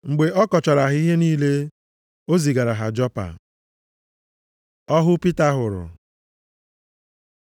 Mgbe ọ kọchara ha ihe niile, o zigara ha Jopa. Ọhụ Pita hụrụ